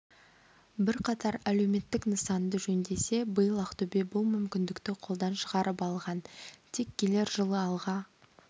бірқатар әлеуметтік нысанды жөндесе биыл ақтөбе бұл мүмкіндікті қолдан шығарып алған тек келер жылы алға